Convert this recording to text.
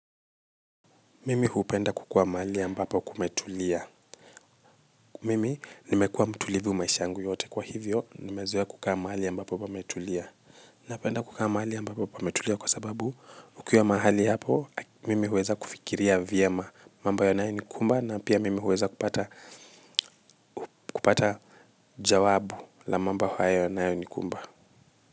Mimi hupenda kukaa mahali ambapo kumetulia. Mimi nimekua mtulivu maisha yangu yote kwa hivyo nimezoea kukaa mahali ambapo pametulia. Napenda kukaa mahali ambapo pametulia kwa sababu ukiwa mahali hapo mimi huweza kufikiria vyema mambo yanayonikumba na pia mimi huweza kupata jawabu la mambo hayo yanayonikumba.